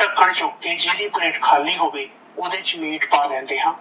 ਢੱਕਣ ਚੁੱਕ ਕੇ ਜੇੜੀ plate ਖਾਲੀ ਹੋਵੇ ਓਦੇ ਚ meat ਪਾ ਲੈਂਦੇ ਹਾਂ,